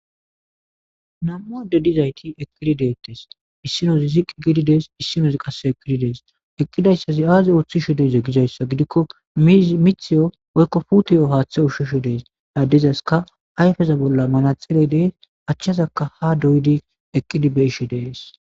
nam7u ado dizayti eqqidi deettes issinozi ziqqi giididees issinozi qase ekidi dees eqqidayssazi aazi ooththi shi deze gizayssa gidikko mithiyo oykko putiyo haaththe ushshisho dees laaddezaska ayfeza bolla manatxele dee achchazaka ha doydi eqqidibeshi dees